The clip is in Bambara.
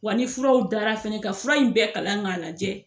Wa ni furaw dara fɛnɛ ka fura in bɛɛ kalan k'a lajɛ